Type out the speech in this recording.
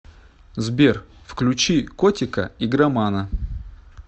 сбер включи котика игромана